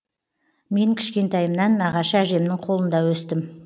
мен кішкентайымнан нағашы әжемнің қолында өстім